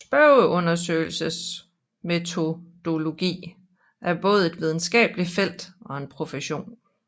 Spørgeundersøgelsesmetodologi er både et videnskabeligt felt og en profession